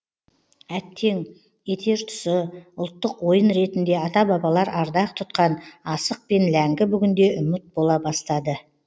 әттең етер тұсы ұлттық ойын ретінде ата бабалар ардақ тұтқан асық пен ләңгі бүгінде ұмыт бола бастады